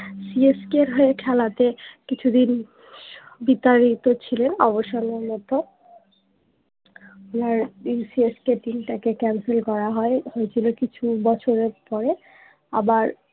C S K এর হয় খেলাতে কিছুদিন বিতাড়িত ছিলেন অবসর মূলত ওনার দিল সি এস কে টীম তা কে ক্যানসেল করা হয় হয়েছিলো কিছু বছরের পরে আবার